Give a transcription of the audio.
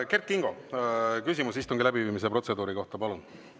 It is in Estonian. Kert Kingo, küsimus istungi läbiviimise protseduuri kohta, palun!